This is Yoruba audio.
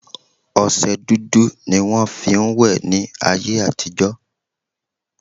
Ọsẹ dúdú ni wọn fi ń wẹ̀ ni áyé àtijọ́